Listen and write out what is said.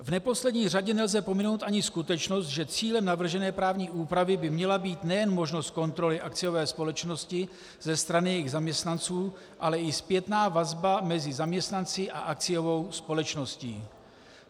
V neposlední řadě nelze pominout ani skutečnost, že cílem navržené právní úpravy by měla být nejen možnost kontroly akciové společnosti ze strany jejích zaměstnanců, ale i zpětná vazba mezi zaměstnanci a akciovou společností.